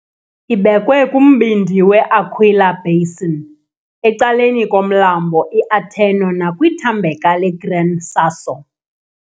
Ibekwe kumbindi we- Aquila basin, ecaleni komlambo iAterno nakwithambeka leGran Sasso.